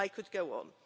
I could go on.